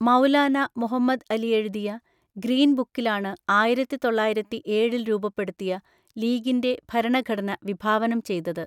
മൗലാന മുഹമ്മദ് അലി എഴുതിയ 'ഗ്രീൻ ബുക്കി'ലാണ് ആയിരത്തി തൊള്ളായിരത്തി ഏഴിൽ രൂപപ്പെടുത്തിയ ലീഗിന്‍റെ ഭരണഘടന വിഭാവനം ചെയ്തത്.